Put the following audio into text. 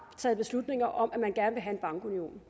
taget beslutning om at man gerne vil have en bankunion